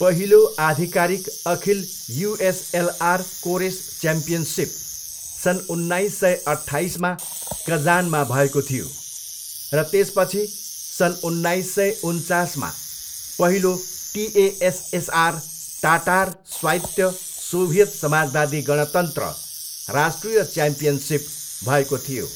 पहिलो आधिकारिक अखिल युएसएलआर कोरेस च्याम्पियनसिप सन् उन्नाइस सय अट्ठाइसमा कजानमा भएको थियो र त्यसपछि सन् उन्नाइस सय उन्चासमा पहिलो टिएएसएसआर, टाटार स्वायत्त सोभियत समाजवादी गणतन्त्र, राष्ट्रिय च्याम्पियनसिप भएको थियो।